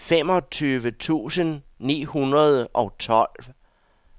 femogtyve tusind ni hundrede og tolv